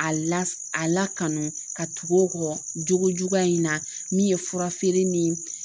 A la a lakana ka tugu o kɔ cogo juguya in na min ye fura feere ni